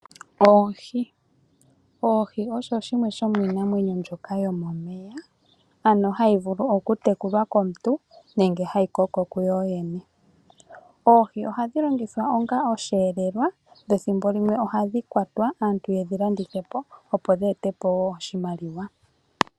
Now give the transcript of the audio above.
Oohi, oohi osho shimweshomiinamwenyo yomomeya, ano hashi vulu okutekulwa komuntu nenge hayi koko kuyo yene. Oohi ohadhi longithwa onga osheelelwa dho thimbo limwe ohadhi kwatwa aantu ye dhi landithe po, opo dhi ete po wo oshimaliwa.